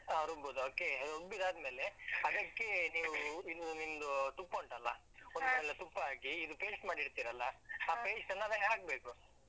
ಹಾ ರುಬ್ಬುದು okay , ರುಬ್ಬಿದಾದ್ಮೇಲೆ ಅದಕ್ಕೆ ನೀವು ಇನ್ನು ನಿಮ್ದು ತುಪ್ಪ ಉಂಟಲ್ಲಾ. ಸಲ ತುಪ್ಪ ಹಾಕಿ, ಇದು paste ಮಾಡಿ ಇಡ್ತೀರಲ್ಲಾ. ಅದಕ್ಕೆ ಹಾಕ್ಬೇಕು.